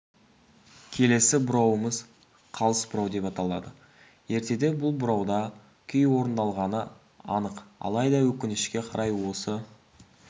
келесі бұрауымыз қалыс бұрау деп аталады ертеде бұл бұрауда күй орындалғаны анық алайда өкінішке қарай осы